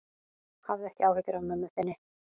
Hafðu ekki áhyggjur af mömmu þinni.